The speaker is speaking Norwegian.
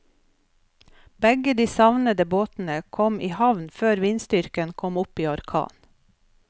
Begge de savnede båtene kom i havn før vindstyrken kom opp i orkan.